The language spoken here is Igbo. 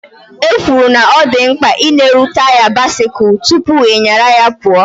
E kwuru na ọ dị mkpa ị lere taya bisikul tụpụ ị nyaru ya pụọ